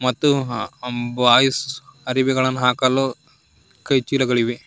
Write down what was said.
ಮತ್ತು ಅ ಆಮ್ ಬಾಯ್ಸ್ ಅರಿವೇಗಳನ್ನು ಹಾಕಲು ಕೈ ಚೀಲಗಳಿವೆ.